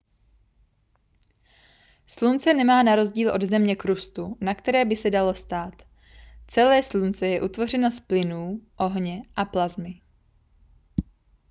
slunce nemá na rozdíl od země krustu na které by se dalo stát celé slunce je utvořeno z plynů ohně a plasmy